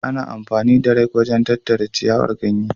Ana amfani da rake wajen tattara ciyawar ko ganye.